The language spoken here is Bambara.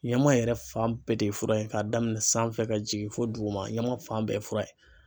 Ɲaman yɛrɛ fan bɛɛ de ye fura ye k'a daminɛn sanfɛ ka jigin fo duguma ɲaman fan bɛɛ ye fura ye.